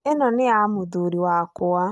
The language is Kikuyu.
Ino nĩ ya mũthuri wakwa